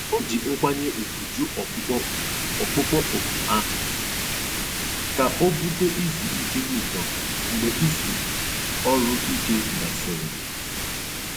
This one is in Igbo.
Ó jí nkwányè ùgwù jụ́ ọ̀kpụ́kpọ́ òkù ọ̀kpụ́kpọ́ òkù áhụ̀ kà ó búté ízú íké ụ́zọ̀ mgbe ízú ọ́rụ̀-íké gàsị̀rị́.